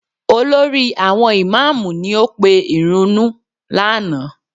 Olórí àwọn ìmáàmù ni ó pe ìrunú lánàá